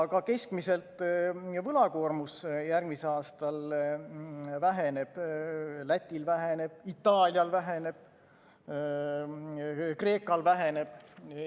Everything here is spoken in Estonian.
Ka keskmiselt võlakoormus järgmisel aastal väheneb, Lätil väheneb, Itaalial väheneb, Kreekal väheneb.